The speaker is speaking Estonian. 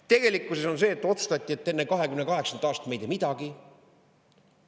Tegelikkuses on see, et otsustati, et enne 2028. aastat me ei tee midagi.